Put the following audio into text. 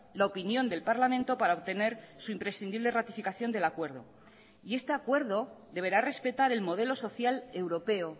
la opinión del parlamento para obtener su imprescindible ratificación del acuerdo y este acuerdo deberá respetar el modelo social europeo